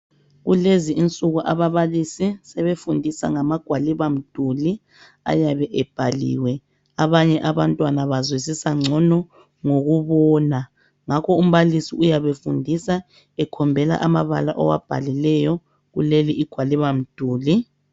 Kulezi insuku ababalisi sebefundisa ngamagwalibamduli ayabe ebhaliwe, abanye abafundi bazwisisa ngcono ngokubona ngakho umbalisi uyabe efundisa ekhombela amabala awabhalileyo kuleligwalibamduli